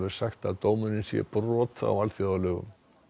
sagt að dómurinn sé brot á alþjóðalögum